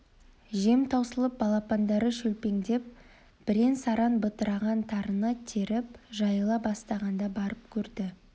жем таусылып балапандары шөпшеңдеп бірен-саран бытыраған тарыны теріп жайыла бастағанда барып көрді